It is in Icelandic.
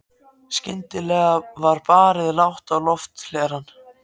Skyndilega var barið lágt á lofthlerann.